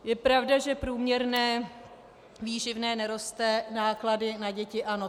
Je pravda, že průměrné výživné neroste, náklady na děti ano.